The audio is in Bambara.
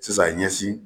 Sisan ɲɛsin